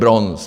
Bronz.